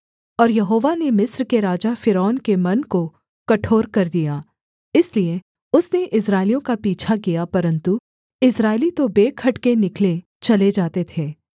और यहोवा ने मिस्र के राजा फ़िरौन के मन को कठोर कर दिया इसलिए उसने इस्राएलियों का पीछा किया परन्तु इस्राएली तो बेखटके निकले चले जाते थे